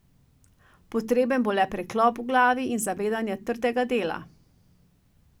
Potreben bo le preklop v glavi in zavedanje trdega dela.